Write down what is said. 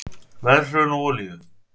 Verðhrun á olíu